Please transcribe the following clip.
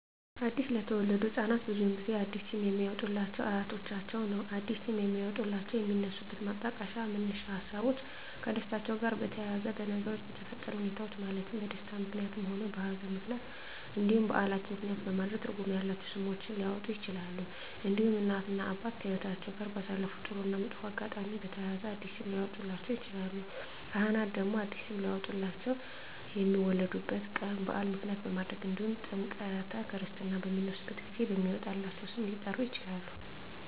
አዲስ ለተወለዱ ህፃናት ብዙውን ጊዜ አዲስ ስም የሚያወጡሏቸው አያቶቻቸውን ነው አዲስ ስም የሚያወጧላቸው የሚነሱበት ማጣቀሻ መነሻ ሀሳቦች ከደስታቸው ጋር በተያያዘ በነገሮች በተፈጠረ ሁኔታዎች ማለትም በደስታም ምክንያትም ሆነ በሀዘንም ምክንያት እንዲሁም በዓላትን ምክንያትም በማድረግ ትርጉም ያላቸው ስሞች ሊያወጡላቸው ይችላሉ። እንዲሁም እናት እና አባት ከህይወትአቸው ጋር ባሳለፉት ጥሩ እና መጥፎ አጋጣሚ በተያያዘ አዲስ ስም ሊያወጡላቸው ይችላሉ። ካህናት ደግሞ አዲስ ስም ሊያወጡላቸው የሚወለዱበት ቀን በዓል ምክንያት በማድረግ እንዲሁም ጥምረተ ክርስትና በሚነሱበት ጊዜ በሚወጣላቸው ስም ሊጠሩ ይችላሉ።